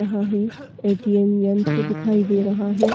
यहाँ पर ए.टी.एम. यंत्र दिखाई दे रहा है।